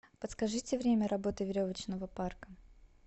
подскажите время работы веревочного парка